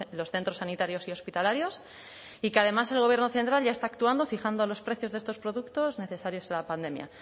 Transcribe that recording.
los centros sanitarios y hospitalarios y que además el gobierno central ya está actuando fijando los precios de estos productos necesarios en la pandemia